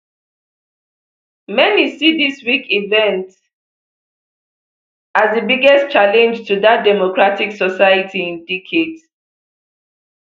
many see dis week event as di biggest challenge to dat democratic society in decades